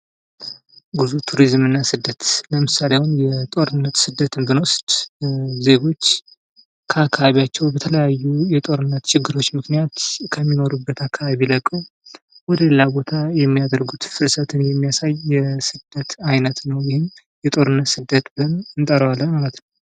ቱሪዝምና ስደት ፡-ለምሳሌ አሁን የጦርነት ስደትን ብንወስድ ዜጎች ካካባቢያቸው በተለያዩ የጦርነት ችግሮች ምክንያት ከሚኖሩበት አካባቢ ቢለቁ ወደ ሌላ ቦታ የሚያደርጉት ፍልሰትን የሚያሳይ የስደት አይነት ነው ።ወይም የጦርነት ስደት ብለን እንጠራዋለን።